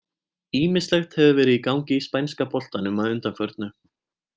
Ýmislegt hefur verið í gangi í spænska boltanum að undanförnu.